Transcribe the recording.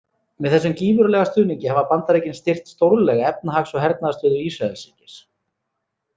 Með þessum gífurlega stuðningi hafa Bandaríkin styrkt stórlega efnahags- og hernaðarstöðu Ísraelsríkis.